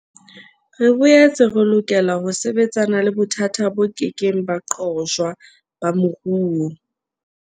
Re boetse re lokela ho sebetsana le bothata bo kekeng ba qojwa ba moruo.